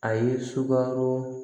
A ye sukaro